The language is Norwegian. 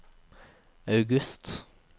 august